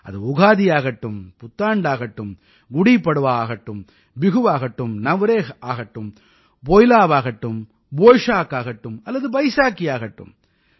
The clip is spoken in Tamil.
அது உகாதியாகட்டும் புத்தாண்டாகட்டும் குடீ பட்வா ஆகட்டும் பிஹூவாகட்டும் நவ்ரேஹ் ஆகட்டும் போய்லாவாகட்டும் போய்ஷாக்காகட்டும் அல்லது பைசாகீயாகட்டும்